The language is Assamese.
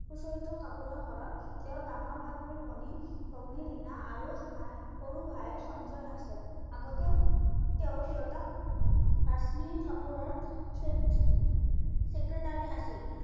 চৰিত্ৰ কাপুৰৰ ঘৰত, তেওঁৰ ডাঙৰ ভাতৃ-ভনী ভগ্নী ৰিনা আৰু সাই সৰু ভাই সঞ্জয় আছে। আগতে তেওঁৰ দেউতাক কাশ্মিৰ কাপুৰৰ secretary আছিল।